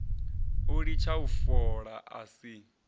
u litsha fola a si